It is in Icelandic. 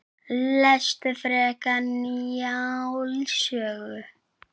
Lestu frekar Njáls sögu